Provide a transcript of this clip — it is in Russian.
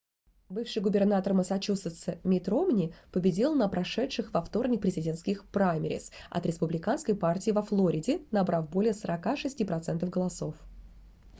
бывший губернатор массачусетса митт ромни победил на прошедших во вторник президентских праймериз от республиканской партии во флориде набрав более 46 процентов голосов